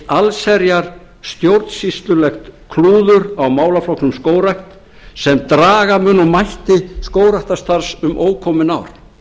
eitt allsherjarstjórnsýslulegt klúður á málaflokknum skógrækt sem draga mun úr mætti skógræktarstarfs um ókomin ár